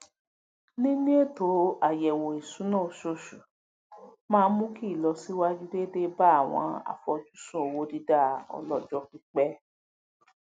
níní ètò ayẹwo ìṣúná oṣooṣù maá n mú kí ìlọsíwájú déédéé bá àwọn àfojúsùn owó dida ọlọjọ pípẹ